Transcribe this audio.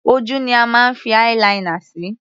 Ojú ni a máa ń fi eye - linear sí.